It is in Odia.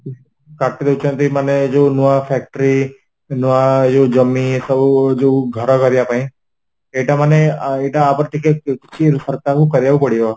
କାଟିଦେଇଛନ୍ତି ମାନେ ଯୋଉ ନୂଆ factory ନୂଆ ଇଏ ଯୋଉ ଜମି ଏ ସବୁ ଯୋଉ ଘର କରିବା ପାଇଁ ଏଇଟା ମାନେ ଏଇଟା ଆ ଉପରେ ଟିକେ କିଛି ସରକାରଙ୍କୁ କରିବାକୁ ପଡିବ